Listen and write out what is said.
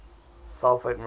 sulfate minerals